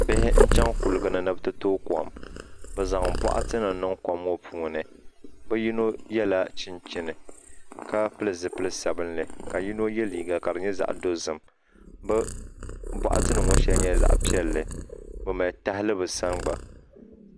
Bihi n chɛŋ kuligi ni ni bi ti tooi kom bi zaŋ boɣati nim niŋ kom ŋo ni bi yino yɛla chinchini ka pili zipili sabinli ka yino yɛ liiga ka di nyɛ zaɣ dozim bi boɣati nim ŋo shɛli nyɛla zaɣ piɛlli bi mali tahali bi sani gba